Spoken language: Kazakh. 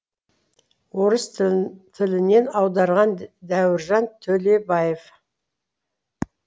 орыс тілінен аударған дәуіржан төлебаев